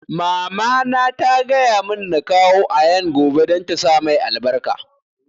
Mama na ta gaya mun na kawo Ayaan gobe don ta sa mai albarka